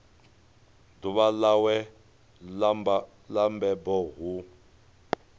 ḓuvha ḽawe ḽa mabebo hu